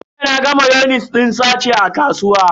Jiya naga mayonis din sache a kasuwa.